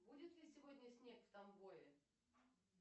будет ли сегодня снег в тамбове